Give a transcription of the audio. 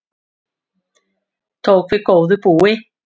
Tók við góðu búi